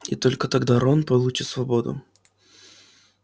и только тогда рон получил свободу